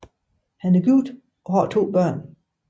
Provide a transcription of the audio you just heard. Han er gift og har børn